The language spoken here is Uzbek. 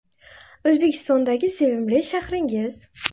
O‘zbekistondagi sevimli shahringiz?